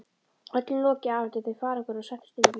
Öllum lokið afhentu þau farangurinn og settust inn í bílinn.